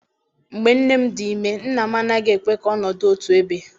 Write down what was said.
Mgbe nne m dị ime nna m anaghị ekwe ka ọnọdụ otu ebe.